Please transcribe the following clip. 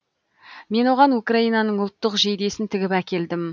мен оған украинаның ұлттық жейдесін тігіп әкелдім